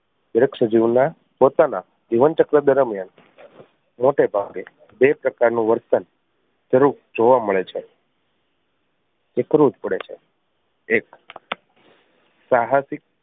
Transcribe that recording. વૃક્ષ જીવ ના પોતાના જીવન ચક્ર દરમિયાન મોટે ભાગે બે પ્રકાર નું વર્તન જરૂર જોવા મળે છે વિકૃત પડે છે એક સાહસિક